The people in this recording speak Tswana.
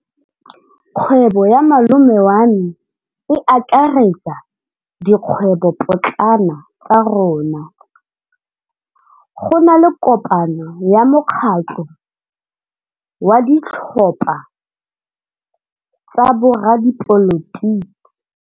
Kgwêbô ya malome wa me e akaretsa dikgwêbôpotlana tsa rona. Go na le kopanô ya mokgatlhô wa ditlhopha tsa boradipolotiki.